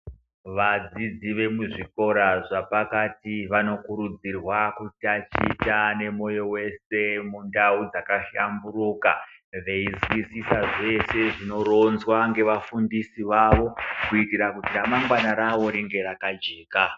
Vadzidzi vekuzvikora zvapakati vanokurudzirwa kutaticha nemoyo wese mundau dzakahlamburuka veinzwisisa zveshe zvinoronzwa nevafundisi vavo kuitira kuti ramangwana rawo ringe rakajeka.